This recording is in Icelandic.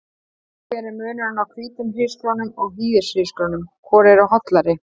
Hver er munurinn á hvítum hrísgrjónum og hýðishrísgrjónum, hvor eru hollari?